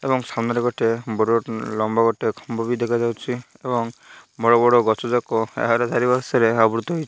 ଏବଂ ସାମ୍ନାରେ ଗୋଟେ ବଡ଼ ଲମ୍ବ ଗୋଟେ ଦେଖା ଯାଉଛି ଏବଂ ବଡ଼ ବଡ଼ ଗଛ ଯାକ ଏହାର ଚାରି ପାର୍ଶ୍ୱ ରେ ଆବୃତ୍ତ ହୋଇ --